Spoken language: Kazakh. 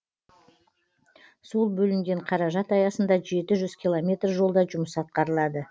сол бөлінген қаражат аясында жеті жүз километр жолда жұмыс атқарылады